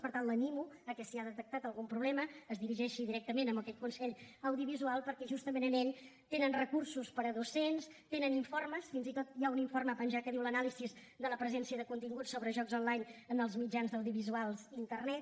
per tant l’animo que si ha detectat algun problema es dirigeixi directament a aquest consell audiovisual perquè justament en ell tenen recursos per a docents tenen informes fins i tot hi ha un informe penjat que diu l’anàlisi de la presència de continguts sobre jocs online en els mitjans audiovisuals i internet